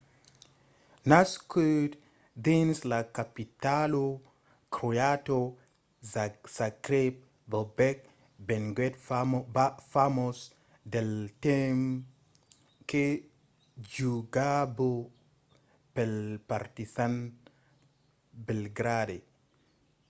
nascut dins la capitala croata zagreb bobek venguèt famós del temps que jogava pel partizan belgrade